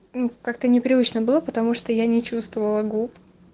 как-то непривычно было потому что я не чувствовала губ